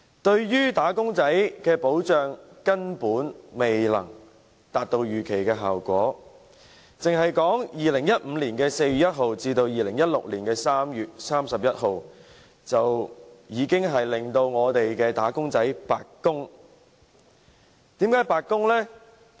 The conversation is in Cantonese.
對於"打工仔"的保障，根本未能達到預期效果，單是2015年4月1日至2016年3月31日，已令"打工仔"白白供款，為甚麼？